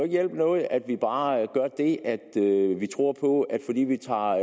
hjælpe noget at vi bare gør det at vi tror på at fordi vi tager